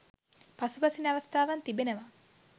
පසුබසින අවස්ථාවන් තිබෙනවා